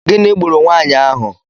Gịnị gburu nwaanyị ahụ?